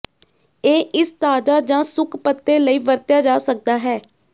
ਇਹ ਇਸ ਤਾਜ਼ਾ ਜ ਸੁੱਕ ਪੱਤੇ ਲਈ ਵਰਤਿਆ ਜਾ ਸਕਦਾ ਹੈ